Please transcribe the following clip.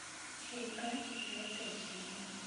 река четвертая серия